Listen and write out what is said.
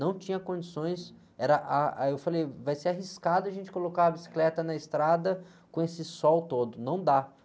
Não tinha condições, era, ah, aí eu falei, vai ser arriscado a gente colocar a bicicleta na estrada com esse sol todo, não dá.